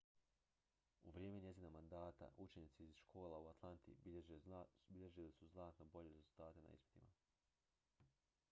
u vrijeme njezina mandata učenici iz škola u atlanti bilježili su znatno bolje rezultate na ispitima